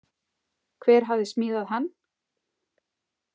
Hver hafði smíðað hann?